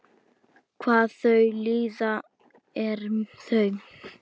Hvað þau líða eru þau?